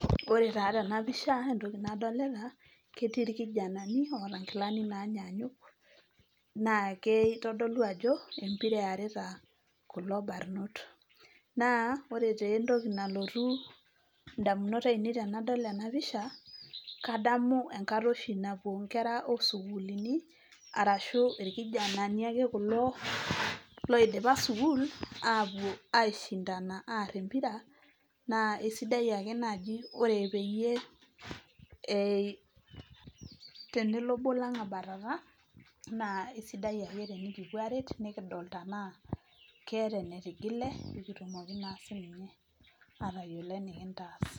Ore taa tena pisha, entoki nadolita, ketii irkijanani oota enkilani naanyaanyuk. Naa kitodolu ajo empira eerita kulo barnot. Naa ore taa entoki nalotu indamunot ainei tenadol ena picha, kadamu enkata oshi napuo inkera oo sukuulini, arashu irkijanani ake kulo loidipa sukuul, aapuo aishindana aarr empira, naa aisidai ake naaji peyie tenelo obo lang' abatata naa kesidai ake tenikipuo aaret nikidol tenaa keeta ene tigile pee kitum aatayiolo eni kintaas.